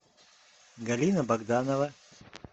галина богданова